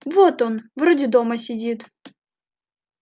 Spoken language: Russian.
вот он вроде дома сидит